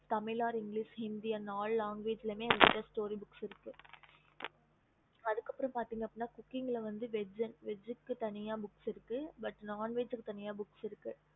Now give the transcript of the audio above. okey mam